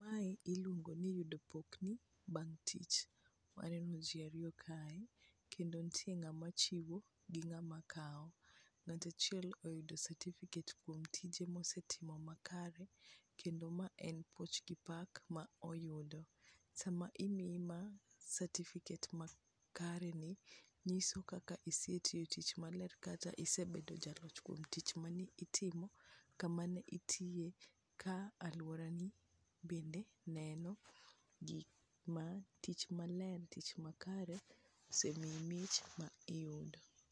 Mae iluongo ni yudo pokni bang' tich, waneno ji ariyo kae kendo nitie ng'ama chiwo gi ng'ama kawo. Ng'ato achiel oyudo certificate kuom tije mosetimo makare kendo ma en puoch gi pak ma oyudo. Sama imiye ma, certificate makareni, nyiso kaka isetiyo tich maler kata isebet jalock kuom tich mane itimo kama ne itiye ka lworani bende neno tich maler, tich makare, osemiyi mich ma iyudo.